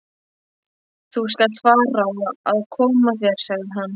Þú skalt fara að koma þér, sagði hann.